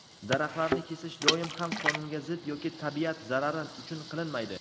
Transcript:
daraxtlarni kesish doim ham qonunga zid yoki tabiat zarari uchun qilinmaydi.